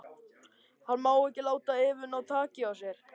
Hann má ekki láta Evu ná taki á sér.